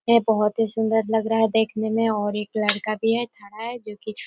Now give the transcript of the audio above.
ये बहोत ही सुन्दर लग रहा है देखने में और एक लड़का भी है खड़ा है जोकी--